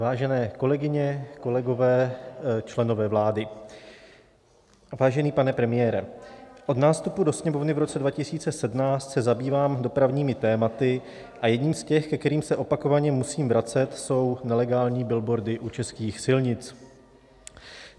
Vážené kolegyně, kolegové, členové vlády, vážený pane premiére, od nástupu do Sněmovny v roce 2017 se zabývám dopravními tématy a jedním z těch, ke kterým se opakovaně musím vracet, jsou nelegální billboardy u českých silnic.